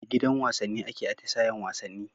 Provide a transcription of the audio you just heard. A gidan wasanni ake atisayen wasanni